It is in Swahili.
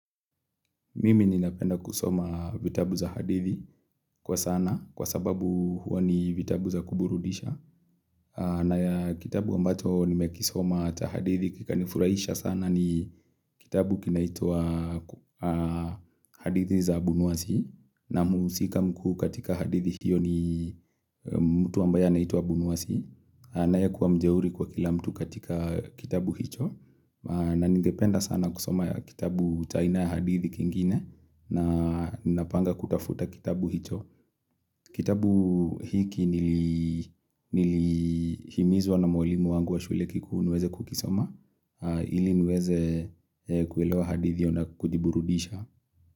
Mimi ninapenda kusoma vitabu za hadithi kwa sana kwa sababu huwa ni vitabu za kuburudisha na ya kitabu ambacho nimekisoma cha hadithi kika nifurahisha sana ni kitabu kinaitwa hadithi za abunwasi na muhusika mkuu katika hadithi hiyo ni mtu ambaye anaitwa abunwasi anayekuwa mjeuri kwa kila mtu katika kitabu hicho na ninapenda sana kusoma kitabu cha aina ya hadithi kingine na napanga kutafuta kitabu hicho Kitabu hiki nili himizwa na mwalimu wangu wa shule kikuu niweze kukisoma Ili niweze kuelewa hadithi io na kujiburudisha.